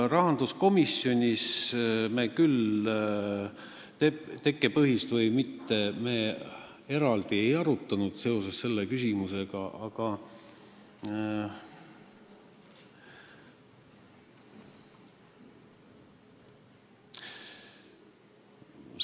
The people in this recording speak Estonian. Rahanduskomisjonis me küll eraldi ei arutanud selle küsimusega seoses, et kas tekkepõhine või mitte.